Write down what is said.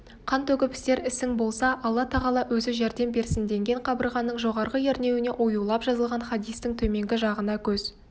қан төгіп істер ісің болса алла-тағала өзі жәрдем берсіндеген қабырғаның жоғарғы ернеуіне оюлап жазылған хадистің төменгі жағына көз